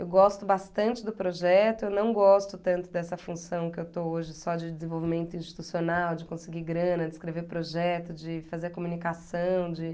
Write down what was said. Eu gosto bastante do projeto, eu não gosto tanto dessa função que eu estou hoje só de desenvolvimento institucional, de conseguir grana, de escrever projeto, de fazer a comunicação, de